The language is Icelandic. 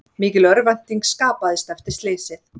Mikil örvænting skapaðist eftir slysið